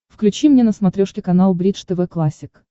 включи мне на смотрешке канал бридж тв классик